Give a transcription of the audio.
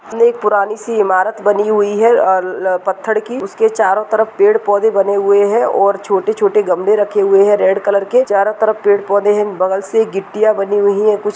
एक पुरानी सी इमारत बनी हुई है अल पथ्थड़ की उसके चारो तरफ पेड़-पौधे बने हुए है और छोटे-छोटे गमले रखे हुए हैं रेड कलर केचारो तरफ पेड़ पौधे हैंबगल से गिट्टियां बानी हुई हैं कुछ --